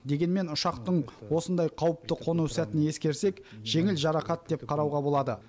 дегенмен ұшақтың осындай қауіпті қону сәтін ескерсек жеңіл жарақат деп қарауға болады